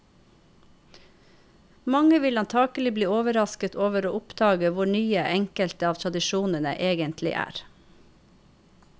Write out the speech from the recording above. Mange vil antakelig bli overrasket over å oppdage hvor nye enkelte av tradisjonene egentlig er.